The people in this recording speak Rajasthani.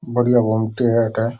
बढ़िया गोमटी है अठ।